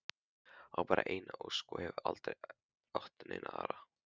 Á bara eina ósk og hefur aldrei átt neina aðra.